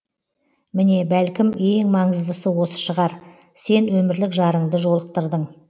міне бәлкім ең маңыздысы осы шығар сен өмірлік жарыңды жолықтырдың